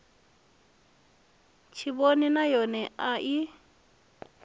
tshivhonini nay one i a